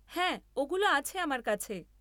হ্যাঁ ওগুলো আছে আমার কাছে।